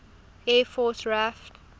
air force raaf